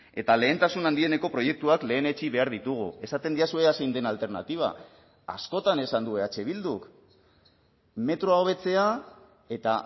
eta lehentasun handieneko proiektuak lehenetsi behar ditugu esaten didazu ea zein den alternatiba askotan esan du eh bilduk metroa hobetzea eta